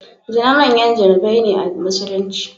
Zina manyan zunubai ne a Musulunci.